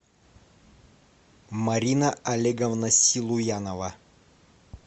марина олеговна силуянова